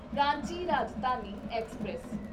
Ranchi Rajdhani express